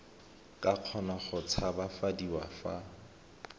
ka kgona go tshabafadiwa fa